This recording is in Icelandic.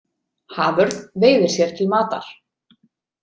Haförn veiðir sér til matar.